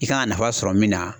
I kan ka nafa sɔrɔ min na